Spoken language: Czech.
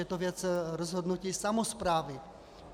Je to věc rozhodnutí samosprávy.